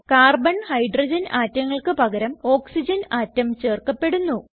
carbon hydrogen ആറ്റങ്ങൾക്ക് പകരം oxygen atom ചേർക്കപ്പെടുന്നു